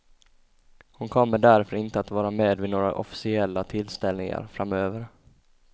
Hon kommer därför inte att vara med vid några officiella tillställningar framöver.